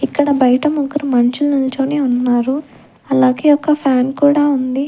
ఇక్కడ బయట ముగ్గురు మనుషులు నుల్చొని ఉన్నారు అలాగే ఒక ఫ్యాన్ కూడా ఉంది.